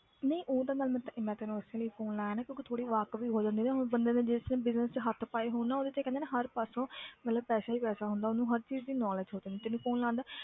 ਨਹੀਂ ਉਹ ਤਾਂ ਗੱਲ ਮੈਂ ਤੇ~ ਮੈਂ ਤੈਨੂੰ ਉਸੇ ਲਈ phone ਲਾਇਆ ਨਾ ਕਿਉਂਕਿ ਥੋੜ੍ਹੀ ਵਾਕਫ਼ੀ ਹੋ ਜਾਂਦੀ ਨਾ ਬੰਦੇ ਜਿਸ ਦਿਨ business 'ਚ ਹੱਥ ਪਾਏ ਹੋਣ ਨਾ ਉਹਦੇ ਤੇ ਹਰ ਪਾਸੋਂ ਮਤਲਬ ਪੈਸਾ ਹੀ ਪੈਸਾ ਹੁੰਦਾ ਉਹਨੂੰ ਹਰ ਚੀਜ਼ ਦੀ knowledge ਹੋ ਜਾਂਦੀ ਤੈਨੂੰ phone ਲਾਉਣ ਦਾ